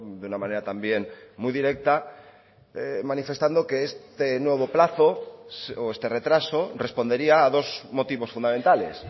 de una manera también muy directa manifestando que este nuevo plazo o este retraso respondería a dos motivos fundamentales